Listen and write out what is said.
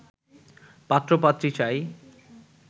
পাত্র পাত্রী চাই